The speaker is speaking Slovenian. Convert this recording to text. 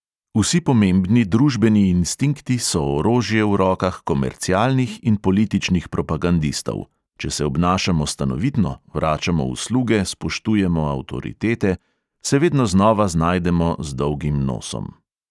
Vsi pomembni družbeni instinkti so orožje v rokah komercialnih in političnih propagandistov; če se obnašamo stanovitno, vračamo usluge, spoštujemo avtoritete ..., se vedno znova znajdemo z dolgim nosom.